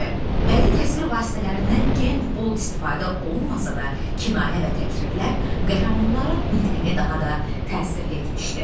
Bədii təsvir vasitələrindən gen bol istifadə olunmasa da, kinayə və təkrirlər qəhrəmanların nitqini daha da təsirli etmişdir.